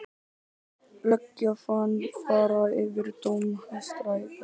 Löggjafinn fari yfir dóm Hæstaréttar